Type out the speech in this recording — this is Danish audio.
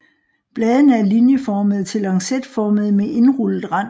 Bladene er linjeformede til lancetformede med indrullet rand